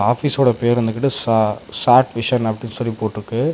ஆபீஸோட பேர் வந்துகிட்டு சா சாட்விஷன் அப்டினு சொல்லி போட்டுருக்கு.